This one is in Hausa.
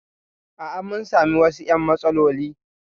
A'a, mun sami wasu "yan matsaloli